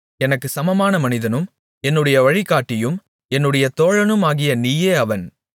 எனக்குச் சமமான மனிதனும் என்னுடைய வழிகாட்டியும் என்னுடைய தோழனுமாகிய நீயே அவன்